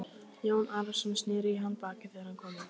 Jón Arason sneri í hann baki þegar hann kom inn.